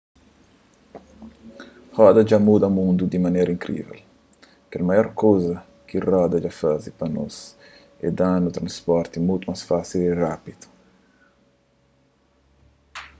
roda dja muda mundu di manera inkrível kel maior kuza ki roda dja faze pa nos é da-nu transporti mutu más fásil y rápidu